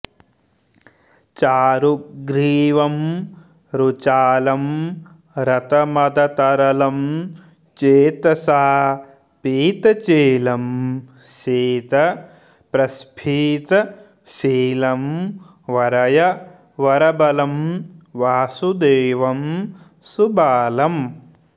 चारुग्रीवं रुचालं रतमदतरलं चेतसा पीतचेलं शीतप्रस्फीतशीलं वरय वरबलं वासुदेवं सुबालम्